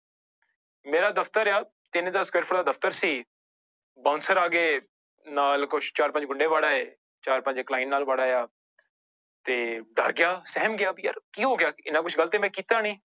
ਮੇਰਾ ਦਫ਼ਤਰ ਆ ਤਿੰਨ ਸਕੇਅਰਫੁਟ ਦਾ ਦਫ਼ਤਰ ਸੀ bouncer ਆ ਗਏ ਨਾਲ ਕੁਛ ਚਾਰ ਪੰਜ ਗੁੰਡੇ ਵੜ ਆਏ, ਚਾਰ ਪੰਜ client ਨਾਲ ਵੜ ਆਇਆ ਤੇ ਡਰ ਗਿਆ ਸਹਿਮ ਗਿਆ ਵੀ ਯਾਰ ਕੀ ਹੋ ਗਿਆ, ਇੰਨਾ ਕੁਛ ਗ਼ਲਤ ਤੇ ਮੈਂ ਕੀਤਾ ਨੀ।